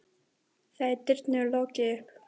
Þá er dyrum lokið upp.